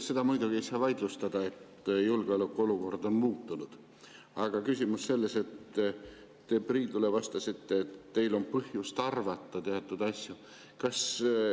Seda muidugi ei saa vaidlustada, et julgeolekuolukord on muutunud, aga küsimus on selles, et te Priidule vastasite, et teil on põhjust arvata teatud asju.